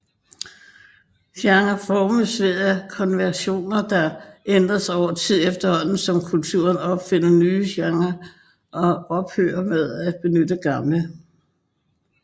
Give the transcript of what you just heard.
Genre formes ved konventioner der ændres over tid efterhånden som kulturer opfinder nye genrer og ophører med at benytte gamle